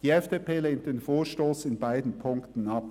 Die FDP lehnt den Vorstoss in beiden Ziffern ab.